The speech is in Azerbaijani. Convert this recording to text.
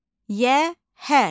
Yəhər.